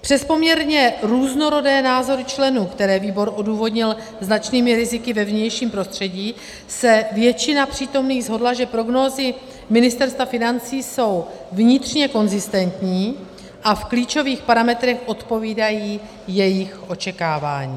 Přes poměrně různorodé názory členů, které výbor odůvodnil značnými riziky ve vnějším prostředí, se většina přítomných shodla, že prognózy Ministerstva financí jsou vnitřně konzistentní a v klíčových parametrech odpovídají jejich očekávání.